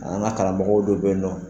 An ga karamɔgɔ dɔ be yen nɔn